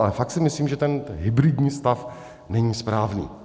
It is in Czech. Ale fakt si myslím, že ten hybridní stav není správný.